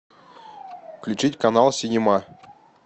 включить канал синема